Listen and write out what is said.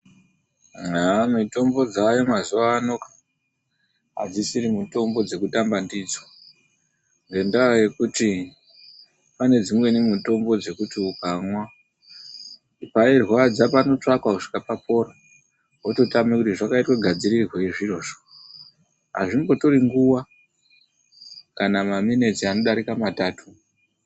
Haaah, mitombo dzaayo mazuwa ano, adzisisiri mitombo dzekutamba ndidzo ngendaa yekuti pane dzimweni mitombo dzekuti ukamwa, pairwadza panotsvakwa kusvika papora, wototame kuti zvakaite gadzirirweyi zvirozvo. Azvimbotori nguwa, kana maminitsi anodarika matatu.